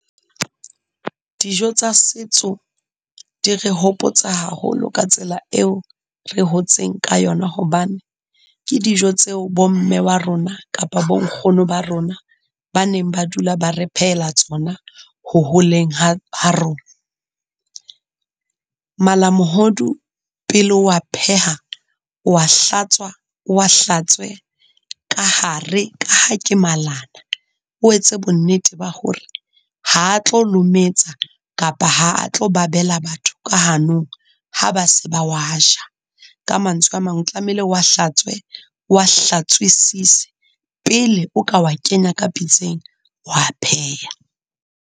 Dijo tsa setso di re hopotsa haholo ka tsela eo re hotseng ka yona, hobane ke dijo tseo bo mme wa rona kapa bo nkgono ba rona, ba neng ba dula ba re phehela tsona ho holeng ha ha rona. Mala mohodu pele o a pheha, o wa hlatswa, o wa hlatswe ka hare ka ha ke malana. O etse bonnete ba hore ha a tlo lometsa kapa ha a tlo babela batho ka hanong ha ba se ba wa ja. Ka mantswe a mang, o tlamehile o wa hlatswe, o wa hlatswisise pele o ka wa kenya ka pitseng, wa a pheha.